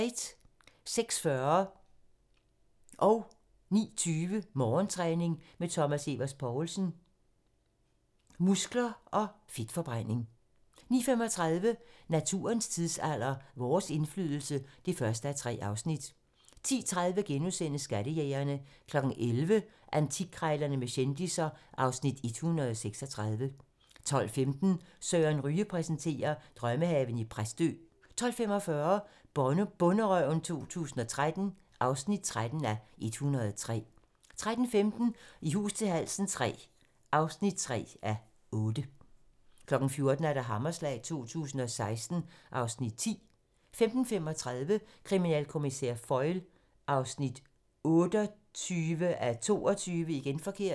06:40: Morgentræning: Thomas Evers Poulsen - muskler/fedtforbrænding 09:20: Morgentræning: Thomas Evers Poulsen - muskler/fedtforbrænding 09:35: Naturens tidsalder - Vores indflydelse (1:3) 10:30: Skattejægerne * 11:00: Antikkrejlerne med kendisser (Afs. 136) 12:15: Søren Ryge præsenterer: Drømmehave i Præstø 12:45: Bonderøven 2013 (13:103) 13:15: I hus til halsen III (3:8) 14:00: Hammerslag 2016 (Afs. 10) 15:35: Kriminalkommissær Foyle (28:22)